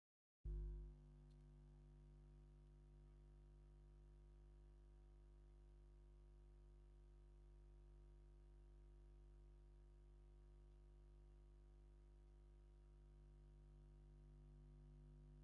ብዓረብያ ሒዞም እናዘሩ ሙዝ እናሸጠ ይርኣ ኣሎ ። እዞም መናኣሰይ ስለስተ ኮይኖም ኣብ ከተማታት ትግራይ ብፍላይ ድማ ኣብ መቀለ ይዝውተር ። ኣብ ከባቢኩም ይሸጡ ዶ ?